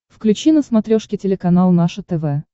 включи на смотрешке телеканал наше тв